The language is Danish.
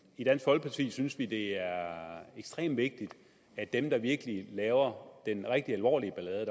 i dansk folkeparti synes vi det er ekstremt vigtigt at dem der virkelig laver den rigtig alvorlige ballade